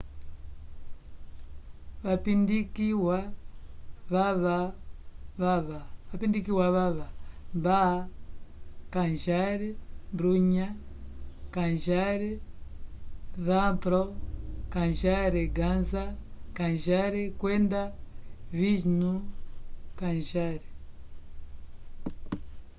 vapindikiwa vava baba kanjar bhutha kanjar rampro kanjar gaza kanjar kwenda vishnu kanjar